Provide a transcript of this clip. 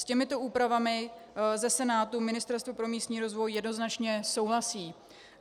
S těmito úpravami ze Senátu Ministerstvo pro místní rozvoj jednoznačně souhlasí.